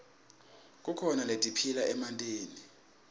kukhona letiphila emantini